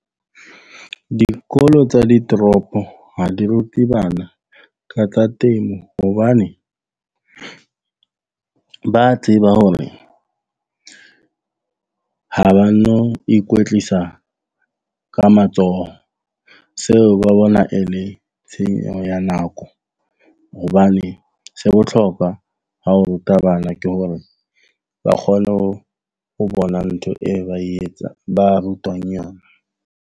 Dikolo tsa ditoropo ha di rute bana ka tsa temo. Hobane ba tseba hore ha ba no ikwetlisa ka matsoho seo ba bona e le tshenyo ya nako. Hobane se botlhokwa ka ho ruta bana ke hore ba kgone ho bona ntho e ba etsang ba rutwang yona.